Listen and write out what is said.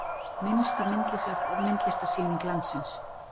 Minnsta myndlistarsýning landsins.